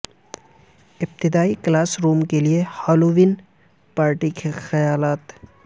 ابتدائی classroom کے لئے ہالووین پارٹی کے خیالات